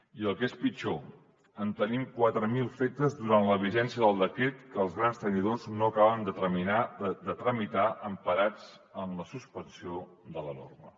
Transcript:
i el que és pitjor en tenim quatre mil de fetes durant la vigència del decret que els grans tenidors no acaben de tramitar emparats en la suspensió de la norma